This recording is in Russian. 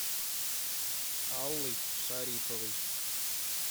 аллой шариповой